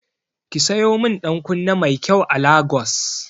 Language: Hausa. Ki sayo min ɗankunne mai kyai a Lagos.